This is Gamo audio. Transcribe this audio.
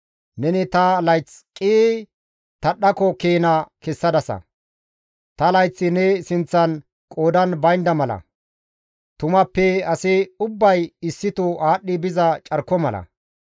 Neni ta layththa qii tadhdhako keena kessadasa; ta layththi ne sinththan qoodan baynda mala; tumappe asi ubbay issito aadhdhi biza carko mala.